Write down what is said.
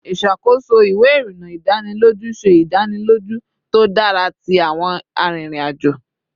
Iṣakoso iwe irinna idaniloju se idaniloju to dara ti awọn arinrin-ajo